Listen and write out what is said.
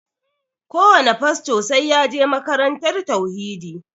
Kowane fasto sai ya je makarantar tauhidi